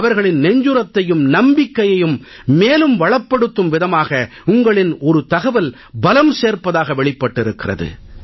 அவர்களின் நெஞ்சுரத்தையும் நம்பிக்கையையும் மேலும் வளப்படுத்தும் விதமாக உங்களின் ஒரு தகவல் பலம் சேர்ப்பதாக வெளிப்பட்டிருக்கிறது